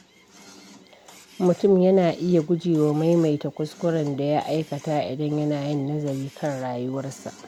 Mutum yana iya gujewa maimaita kuskuren da ya aikata idan yana yin nazari kan rayuwarsa.